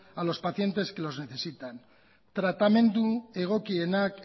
a los paciente que los necesitan tratamendu egokienak